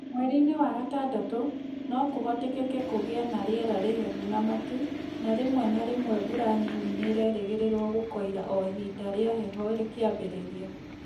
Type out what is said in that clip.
Mweri-inĩ wa gatadatũ, nĩ kũhotekeka kũgĩe na rĩera rĩhehu na matu, na rĩmwe na rĩmwe nĩ mbura nini nĩ ĩrerĩgĩrĩirũo gũkoira o ihinda rĩa heho rĩkĩambĩrĩria.